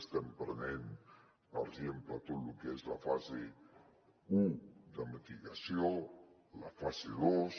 estem prenent per exemple tot lo que és la fase u de mitigació la fase dos